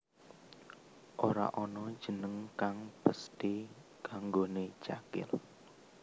Ora ana jeneng kang pesthi kanggoné Cakil